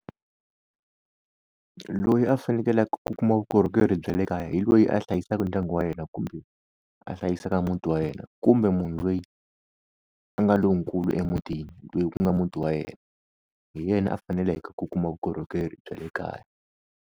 Loyi a fanekelake a kuma vukorhokeri bya le kaya hi loyi a hlayisaka ndyangu wa yena kumbe a hlayisaka muti wa yena kumbe munhu loyi a nga lonkulu emutini loyi ku nga muti wa yena hi yena a faneleke ku kuma vukorhokeri bya le kaya.